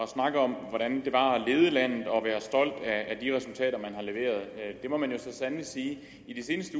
snakke om hvordan det var at lede landet og være stolt af de resultater man har leveret det må man jo så sandelig sige i de seneste